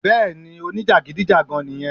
Bẹ́ẹ̀ni ni o ní jàgídíjàgan nì yẹn